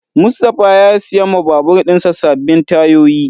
Mustapha ya siya ma babur dinsa sabbin tayoyi.